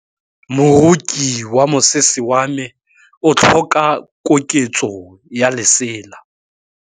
Moroki wa mosese wa me o tlhoka koketsô ya lesela.